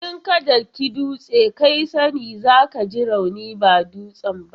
In ka daki dutse, kai sa ne za ka ji rauni ba dutsen ba.